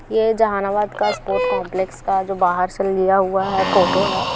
ये जहानाबाद का sport complex का जो बाहर से लिया हुआ है फोटो है।